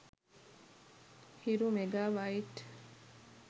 hiru mega bite